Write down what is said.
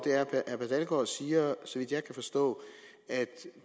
og at siger så vidt jeg kan forstå at